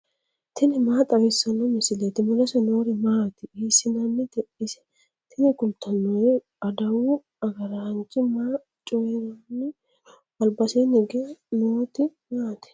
tini maa xawissanno misileeti ? mulese noori maati ? hiissinannite ise ? tini kultannori adawu agaraanchi maa coyiranni noo albasiinni higge nooti maati